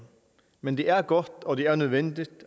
men det er godt og det er nødvendigt